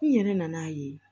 N yɛrɛ nan'a ye